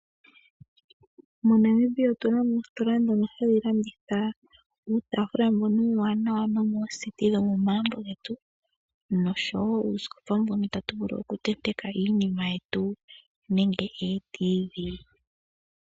MoNamibia otunamo oositola ndhono hadhi landitha uutafula mbono uuwanawa no mooseti dhomo magumbo getu nosho woo uusikopa mbono ta tu vulu okutentekwa iinima yetu nande eeTV.